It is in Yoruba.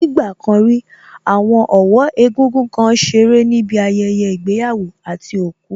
Ní ìgbà kan rí, àwọn ọ̀wọ́ egúngún kan ṣeré níbi ayẹyẹ ìgbéyàwó àti òkú